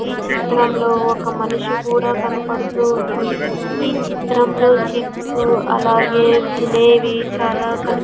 ఈ చిత్రంలో ఒక మనిషి కూడా కనపడుతూ ఉంది ఈ చిత్రంలో చిప్స్ అలాగే తినేవి చాలా కనిప్.